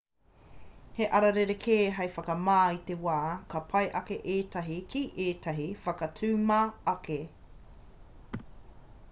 he ara rerekē hei whakamā i te wai ka pai ake ētahi ki ētahi whakatuma ake